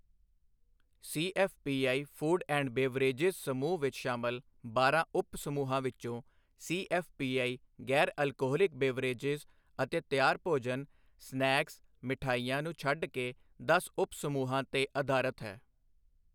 CFPI food and beverages ਸਮੂਹ ਵਿੱਚ ਸ਼ਾਮਲ ਬਾਰਾਂ ਉਪ ਸਮੂਹਾਂ ਵਿੱਚੋਂ, ਸੀਐੱਫ਼ਪੀਆਈ ਗੈਰ ਅਲਕੋਹਲਿਕ ਬਿਵ੍ਰੇਜਿਜ਼ ਅਤੇ ਤਿਆਰ ਭੋਜਨ, ਸਨੈਕਸ, ਮਠਿਆਈਆਂ ਨੂੰ ਛੱਡ ਕੇ, ਦਸ ਉਪ ਸਮੂਹਾਂ ਤੇ ਆਧਾਰਤ ਹੈ।